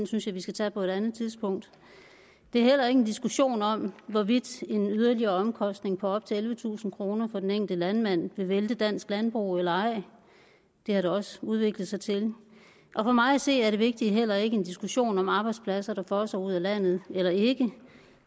synes jeg vi skal tage på et andet tidspunkt det er heller ikke en diskussion om hvorvidt en yderligere omkostning på op til ellevetusind kroner for den enkelte landmand vil vælte dansk landbrug eller ej det har det også udviklet sig til og for mig at se er det vigtige heller ikke en diskussion om arbejdspladser der fosser ud af landet eller ikke